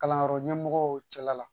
Kalanyɔrɔ ɲɛmɔgɔw cɛla la